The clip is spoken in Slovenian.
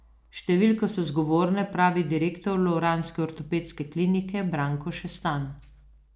Številke so zgovorne, pravi direktor lovranske ortopedske klinike Branko Šestan.